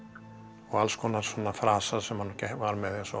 og alls konar frasar sem hann var með eins og